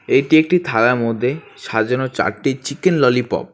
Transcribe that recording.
এইটি একটি থালার মধ্যে সাজানো চারটি চিকেন ললিপপ ।